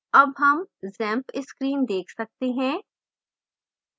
अब हम xampp screen देख सकते हैं